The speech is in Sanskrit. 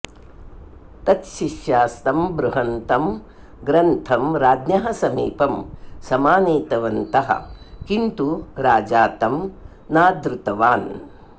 तच्छिष्यास्तं बृहन्तं ग्रन्थं राज्ञः समीपं समानीतवन्तः किन्तु राजा तं नादृतवान्